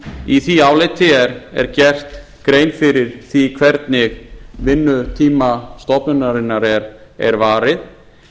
í því áliti er gerð grein fyrir því hvernig vinnutíma stofnunarinnar er varið